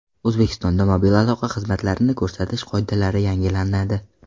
O‘zbekistonda mobil aloqa xizmatlarini ko‘rsatish qoidalari yangilanadi.